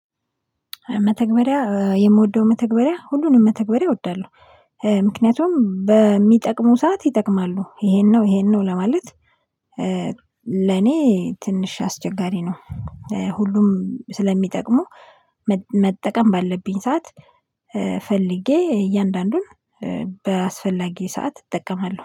መተግበሪያ የምወደው መተግበሪያ ሁሉንም መተግበሪያ እወዳለሁ። ምክንያቱም በሚጠቅሙ ሰዓት ይጠቅማሉ ይሄን ነው ይሄን ነው ለማለት። ለኔ ትንሽ አስቸጋሪ ነው። ሁሉም ስለሚጠቅሙ መጠቀም ባለብኝ ሰዓት ፈልጌ እያንዳንዱን በአስፈላጊ ሰዓት እጠቀማለሁ